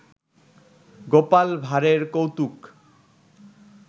গোপাল ভাড়ের কৌতুক